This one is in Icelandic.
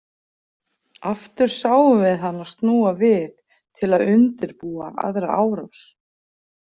Aftur sáum við hana snúa við til að undirbúa aðra árás.